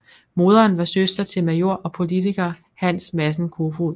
Moderen var søster til major og politiker Hans Madsen Koefoed